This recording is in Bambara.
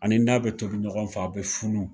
Ani na bɛ tobi ɲɔgɔn fɛ a bɛ funu